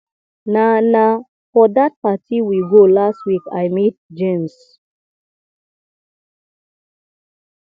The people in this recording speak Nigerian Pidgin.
na na for dat party we go last week i meet james